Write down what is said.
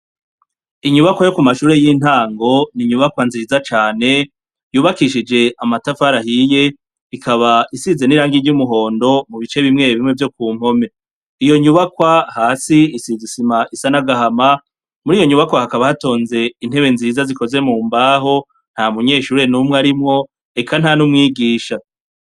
Inyubakwa yokumashure yintango ninyubakwa nziza cane yubakishije amatafari ahiye ikaba isize nirangi ryubururu mubice bimwe bimwe vyokuruhome iyonyubakwa hasi isize isima isa nagahama muriyo nyubakwa hakaba hatonze intebe nziza zikoze mumbaho ntamunyeshure numwe arimwo eka ntanumwigisha